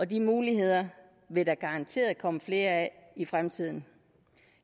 de muligheder vil der garanteret komme flere af i fremtiden